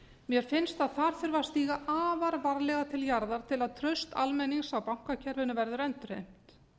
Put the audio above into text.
mér finnst að þar þurfi að stíga afar varlega til jarðar til að traust almennings á bankakerfinu verði endurheimt